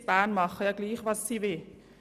Die in Bern machen ja ohnehin was sie wollen.